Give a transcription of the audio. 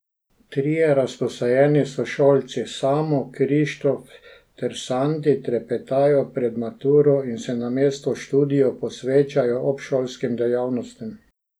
Trije razposajeni sošolci Samo, Krištof ter Sandi trepetajo pred maturo in se namesto študiju posvečajo obšolskim dejavnostim.